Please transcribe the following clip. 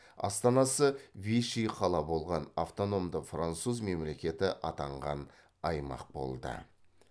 астанасы виши қала болған автономды француз мемлекеті атанған аймақ болды